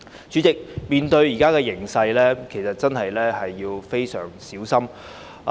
主席，面對當前的形勢，其實真的要非常小心。